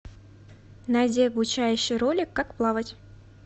найди обучающий ролик как плавать